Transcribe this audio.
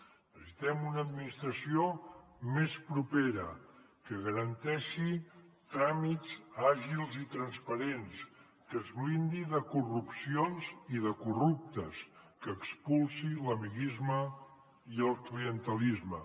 necessitem una administració més propera que garanteixi tràmits àgils i transparents que es blindi de corrupcions i de corruptes que expulsi l’amiguisme i el clientelisme